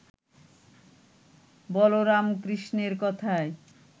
বলরাম কৃষ্ণের কথায়